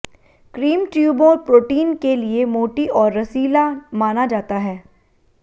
cream ट्यूबों protein के लिए मोटी और रसीला माना जाता है